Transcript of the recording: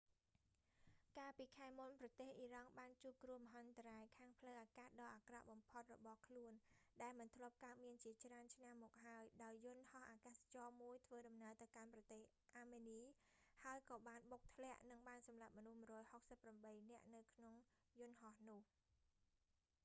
កាលពីខែមុន ប្រទេសអ៊ីរ៉ង់បានជួបគ្រោះមហន្តរាយខាងផ្លូវអាកាសដ៏អាក្រក់បំផុតរបស់ខ្លួន ដែលមិនធ្លាប់កើតមានជាច្រើនឆ្នាំមកហើយ ដោយយន្តហោះអាកាសចរណ៍មួយធ្វើដំណើរទៅកាន់ប្រទេសអាមេនី ហើយក៏បានបុកធ្លាក់ និងបានសម្លាប់មនុស្ស 168 នាក់នៅក្នុងយន្តហោះនោះ